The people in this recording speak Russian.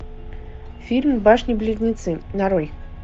фильм башни близнецы нарой